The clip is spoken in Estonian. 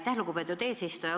Aitäh, lugupeetud eesistuja!